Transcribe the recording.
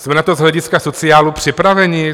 Jsme na to z hlediska sociálu připraveni?